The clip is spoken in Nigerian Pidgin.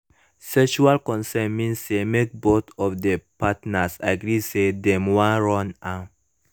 sexual consent mean say mk both of the partners agree say dem wan run am